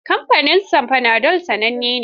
Kamfanin Panadol sananne ne.